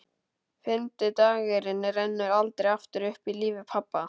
Fimmti dagurinn rennur aldrei aftur upp í lífi pabba.